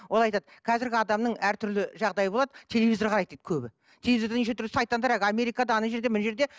ол айтады қазіргі адамның әртүрлі жағдайы болады телевизор қарайды дейді көбі телевизорда неше түрлі сайтандар әлгі америкада жерде мына жерде